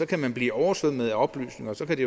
kan man blive oversvømmet af oplysninger og så kan de